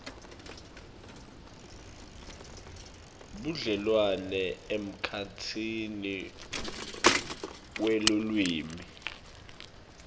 budlelwane emkhatsini welulwimi